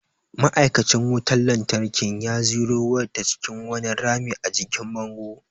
Ma’aikacin wutar lantarkin ya ziro wayar ta cikin wani rami a jikin bango.